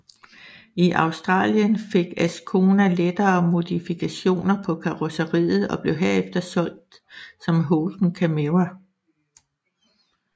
I Australien fik Ascona lettere modifikationer på karrosseriet og blev herefter solgt som Holden Camira